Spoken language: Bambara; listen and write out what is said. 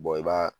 i b'a